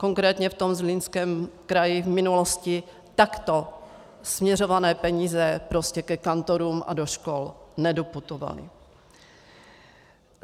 Konkrétně v tom Zlínském kraji v minulosti takto směřované peníze prostě ke kantorům a do škol nedoputovaly.